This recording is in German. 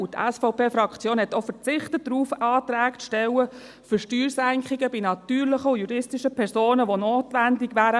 Die SVPFraktion hat auch darauf verzichtet, Anträge für Steuersenkungen bei natürlichen und juristischen Personen zu stellen, die notwendig wären.